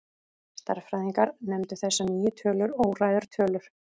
Stærðfræðingar nefndu þessar nýju tölur óræðar tölur.